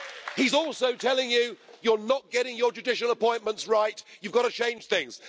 He's also telling you you're not getting your judicial appointments right, you've got to change things'.